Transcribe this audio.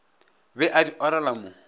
be a di orela mo